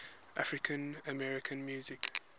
african american music